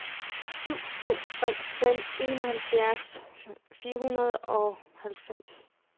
syv to tre fem enoghalvfjerds fire hundrede og halvfems